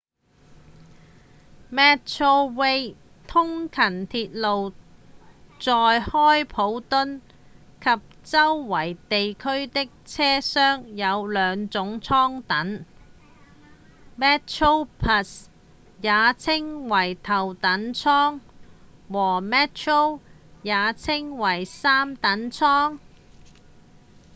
metrorail 通勤鐵路在開普敦及周圍地區的車廂有兩種艙等 ：metroplus 也稱為頭等艙和 metro 也稱為三等艙